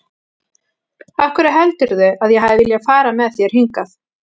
Af hverju heldurðu að ég hafi viljað fara með þér hingað?